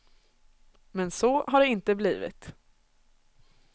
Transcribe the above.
Men så har det inte blivit.